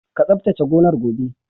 Ka tsabtace gonar gobe!